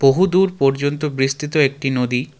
বহুদূর পর্যন্ত বিস্তৃত একটি নদী.